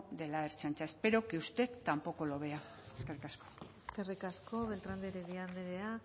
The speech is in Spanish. de la ertzaintza espero que usted tampoco lo vea eskerrik asko eskerrik asko beltran de heredia andrea